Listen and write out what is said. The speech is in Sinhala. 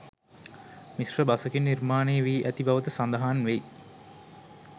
මිශ්‍ර බසකින් නිර්මාණය වී ඇති බවද සඳහන් වෙයි